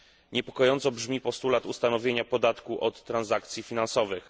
Niepokojąco brzmi postulat ustanowienia podatku od transakcji finansowych.